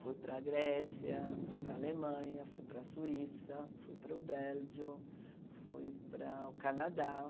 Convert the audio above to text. Fui para a Grécia, fui para a Alemanha, fui para a Suíça, fui para o Bélgio, fui para o Canadá.